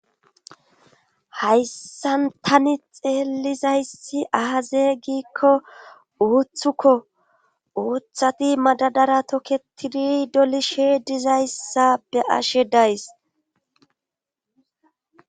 hayssan tani xeelizayssi aaze giikko uuthukko uuththati madadara tokketiri dolishe dizayssa be ashe days